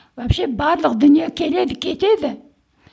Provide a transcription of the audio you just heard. вообще барлық дүние келеді кетеді